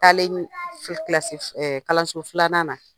Taalen kilasi kalanso filanan na